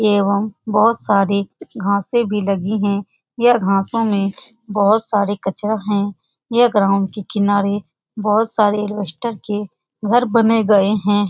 एवं बहुत सारे घासे भी लगी है बहुत सारे कचरा है यह ग्राउंड के किनारे बहुत सारे एलवेस्टर के घर बने गए हैं।